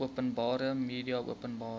openbare media openbare